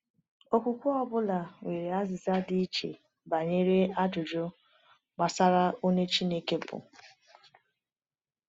Okwukwe ọ bụla nwere azịza dị iche banyere ajụjụ gbasara onye Chineke bụ.